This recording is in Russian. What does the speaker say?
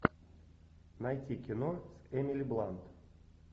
найти кино с эмили блант